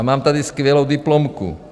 A mám tady skvělou diplomku.